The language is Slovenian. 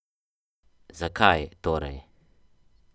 Zakaj, torej?